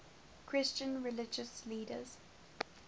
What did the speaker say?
christian religious leaders